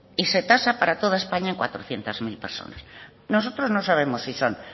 y se tasa para toda españa en cuatrocientos mil personas nosotros no sabemos si son